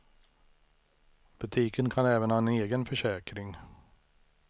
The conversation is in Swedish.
Butiken kan även ha en egen försäkring.